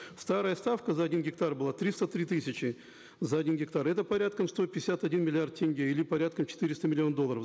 старая ставка за один гектар была триста три тысячи за один гектар это порядка сто пятьдесят один миллиард тенге или порядка четыреста миллионов долларов